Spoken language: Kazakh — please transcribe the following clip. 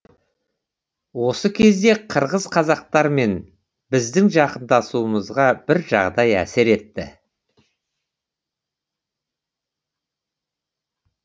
осы кезде қырғыз қазақтармен біздің жақындасуымызға бір жағдай әсер етті